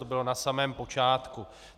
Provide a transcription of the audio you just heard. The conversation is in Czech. To bylo na samém počátku.